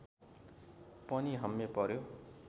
पनि हम्मे पर्‍यो